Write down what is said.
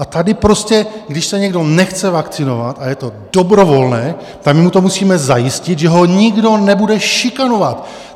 A tady prostě když se někdo nechce vakcinovat a je to dobrovolné, tak my mu to musíme zajistit, že ho nikdo nebude šikanovat!